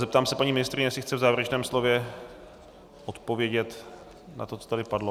Zeptám se paní ministryně, jestli chce v závěrečném slově odpovědět na to, co tady padlo.